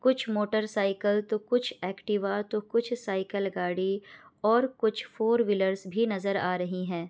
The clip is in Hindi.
कुछ मोटरसाइकिल तो कुछ एक्टिवा तो कुछ साइकिल गाड़ी और कुछ फोर व्हीलर्स भी नजर आ रही हैं।